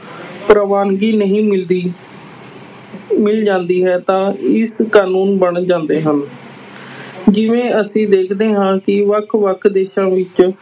ਪ੍ਰਵਾਨਗੀ ਨਹੀਂ ਮਿਲਦੀ ਮਿਲ ਜਾਂਦੀ ਹੈ ਤਾਂ ਇੱਕ ਕਾਨੂੰਨ ਬਣ ਜਾਂਦੇ ਹਨ ਜਿਵੇਂ ਅਸੀਂ ਦੇਖਦੇ ਹਾਂ ਕਿ ਵੱਖ ਵੱਖ ਦੇਸਾਂ ਵਿੱਚ